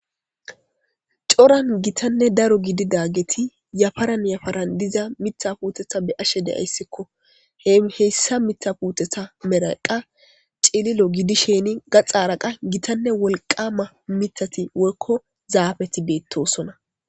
coran gitanne daro gidi daageti yafaran yafaran diza mitha puutetha be ashe deyayssikko he heyssa mitha puutetha meraqa cililo gidisheni gaxaaraqa gitanne wolqama mitati woykko zaabeti beettosona